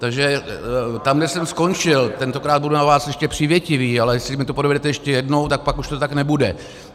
Takže tam, kde jsem skončil - tentokrát budu na vás ještě přívětivý, ale jestli mi to provedete ještě jednou, tak pak už to tak nebude.